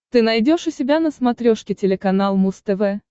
ты найдешь у себя на смотрешке телеканал муз тв